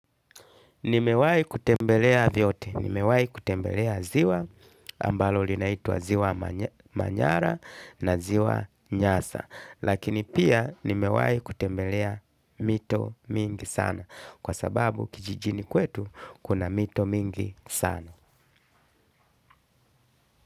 Nimewai kutembelea vyote. Nimewai kutembelea ziwa ambalo linaitwa ziwa manyara na ziwa nyasa. Lakini pia nimewai kutembelea mito mingi sana. Kwa sababu kijijini kwetu kuna mito mingi sana.